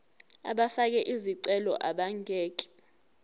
abafake izicelo abangeke